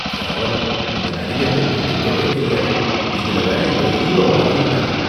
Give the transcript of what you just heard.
கேவலம்! இந்த நடிகருக்கு நடிக்கவே தெரியாது, இதுல வேற இவர ஹீரோவா ஆக்கியிருக்காங்க.